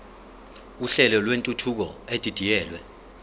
uhlelo lwentuthuko edidiyelwe